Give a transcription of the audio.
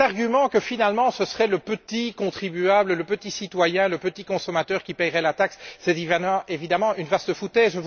Cet argument que finalement, ce serait le petit contribuable, le petit citoyen, le petit consommateur qui paierait la taxe, c'est évidemment une vaste foutaise!